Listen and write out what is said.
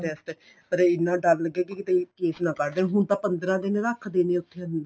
test ਪਰ ਇੰਨਾ ਡਰ ਲੱਗਿਆ ਕੀ ਕਿੱਥੇ case ਨਾ ਕੱਡ ਦੇਣ ਹੁਣ ਤਾਂ ਪੰਦਰਾਂ ਦਿਨ ਰੱਖਦੇ ਨੇ ਉਥੇ ਅੰਦਰ